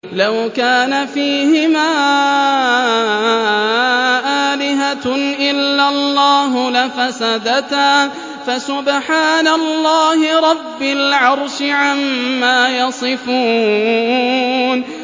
لَوْ كَانَ فِيهِمَا آلِهَةٌ إِلَّا اللَّهُ لَفَسَدَتَا ۚ فَسُبْحَانَ اللَّهِ رَبِّ الْعَرْشِ عَمَّا يَصِفُونَ